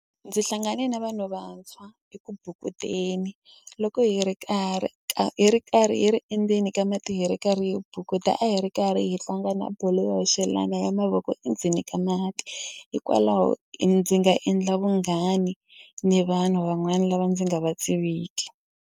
Ndzi hlangane na vanhu vantshwa eku bukuteni loko hi ri karhi ka hi ri karhi hi ri endzeni ka mati hi ri karhi hi bukuta a hi ri karhi hi tlanga na bolo yo hoxelana ya mavoko i endzeni ka mati hikwalaho ndzi nga endla vunghani ni vanhu van'wani lava ndzi nga va tiviki.